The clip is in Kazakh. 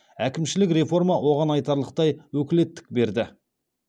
әкімшілік реформа оған айтарлықтай өкілеттік берді